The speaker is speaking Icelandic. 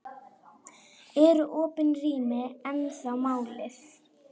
Eru opin rými ennþá málið?